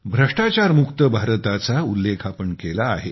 भ्रष्टाचारमुक्त भारताचा उल्लेख आपण केला आहे